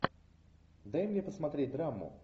дай мне посмотреть драму